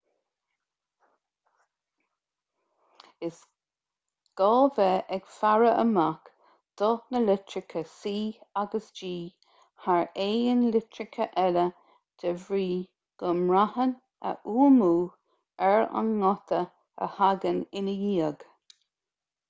is gá bheith ag faire amach do na litreacha c agus g thar aon litreacha eile de bhrí go mbraitheann a bhfuaimniú ar an nguta a thagann ina ndiaidh